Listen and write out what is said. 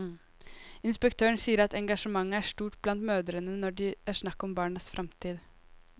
Inspektøren sier at engasjementet er stort blant mødrene når det er snakk om barnas fremtid.